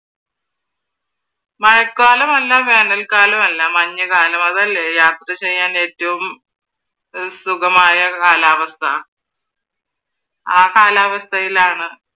മഴക്കാലവുമല്ല വേനല്ക്കാലവുമല്ല മഞ്ഞു കാലം അതല്ലേ യാത്ര ചെയ്യാൻ ഏറ്റവും സുഖമായ കാലാവസ്‌ഥ. ആ കാലാവസ്ഥയിലാണ്